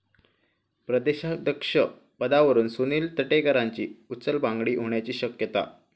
प्रदेशाध्यक्ष पदावरून सुनील तटकरेंची उचलबांगडी होण्याची शक्यता